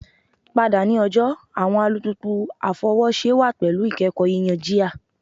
Pada ni ọjọ awọn alupupu afọwọṣe wa pẹlu ikẹkọ yiyan jia